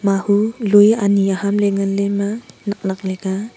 mahu lui ani aham le ngan le ema naknak le ka.